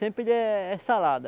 Sempre é é salada.